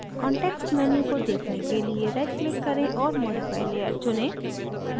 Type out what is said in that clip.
context menu को देखने के लिए right click करें और modify layer चुनें